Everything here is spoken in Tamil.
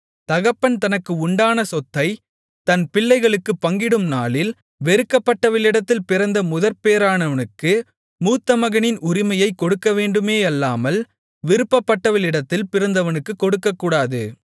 தகப்பன் தனக்கு உண்டான சொத்தைத் தன் பிள்ளைகளுக்குப் பங்கிடும் நாளில் வெறுக்கப்பட்டவளிடத்தில் பிறந்த முதற்பேறானவனுக்கு மூத்தமகனின் உரிமையைக் கொடுக்கவேண்டுமேயல்லாமல் விரும்பப்பட்டவளிடத்தில் பிறந்தவனுக்குக் கொடுக்கக்கூடாது